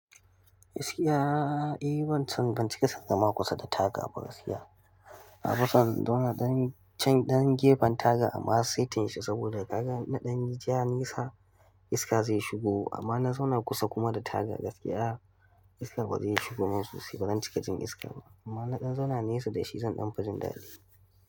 Gaskiya, eh ban san, ban cika son zama kusa da taga ba gaskiya. Na fi son in zauna ɗan gefen taga amma saitinsa saboda kaga na ɗan nisa iska zai shigo amma na zauna kusa kuma da taga gaskiya iska bazai shigo min sosai ba cika jin iska ba, amma in na ɗan zauna nesa dashi zan ɗan fi jin dadi.